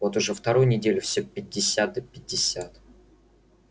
вот уже вторую неделю всё пятьдесят да пятьдесят